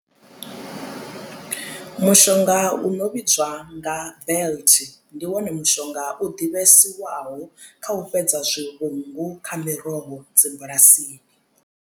Mushonga u no vhidzwa nga belt ndi wone mushonga u ḓivhesiwaho kha u fhedza zwivhungu kha miroho dzi bulasini.